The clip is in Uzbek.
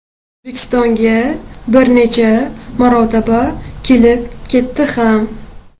O‘zbekistonga bir necha marotaba kelib ketdi ham.